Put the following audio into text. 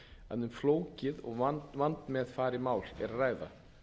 að um flókið og vandmeðfarið mál er að ræða